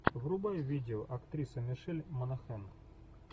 врубай видео актриса мишель монахэн